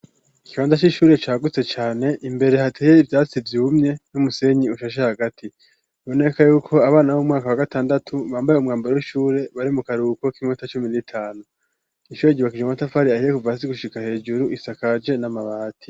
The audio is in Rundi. Ikibanda c'ishure cygutse cane imbere hateye ibyasibye ubumye n'umusenyi ushashe hagati boneka yuko abana b'umwaka wa gatandatu bambaye umwambare w'ishure bari mu karuko k'inkota cumi n'itanu, ishure gibakije umatafari ahiye kuva asi gushika hejuru isakaje n'amabati.